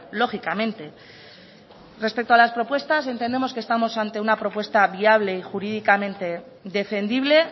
lógicamente respecto a las propuestas entendemos que estamos ante una propuesta viable y jurídicamente defendible